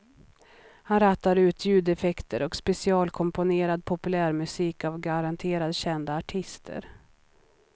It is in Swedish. Han rattar ut ljudeffekter och specialkomponerad populärmusik av garanterat kända artister.